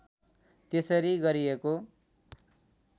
त्यसरी गरिएको